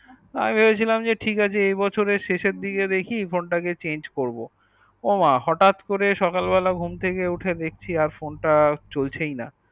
আমি ভেবেছিলাম ঠিক আছে এই বছরে শেষ এর দিকে দেখি phone তা কে change করবো ও মা হটাৎ করে সকাল বেলা ঘুম থেকে উঠে দেখছি আর phone তা চলছেই না